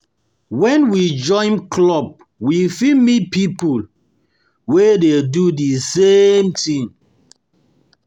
When we join club we fit meet pipo fit meet pipo wey dey do the same thing wey dey do